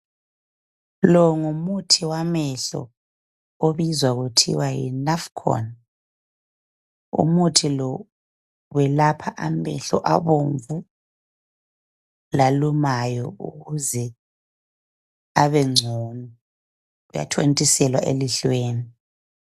Lo ngumuthi wamehlo okubizwa kuthiwa yiNaphcon. Umuthi lo uyelapha amehlo abomvu lalumayo ukuze abengcono. Uyathontiselwa elihlweni.